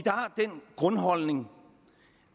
grundholdning